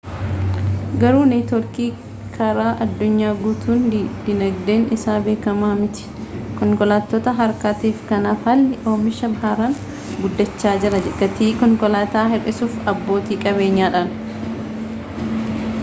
garuu neetworkiin karaa addunyaa guutuu diinagdeen isaa beekama mitii konkolaattota harkaatiif kanaaf haalli oomishaa haaraan guddacha jiraa gatii konkolaata hir'isuuf abbooti qabeenyadhan